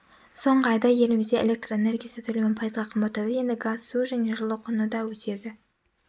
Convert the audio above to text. соңғы айда елімізде электр энергиясы төлемі пайызға қымбаттады енді газ су және жылу құны да өседі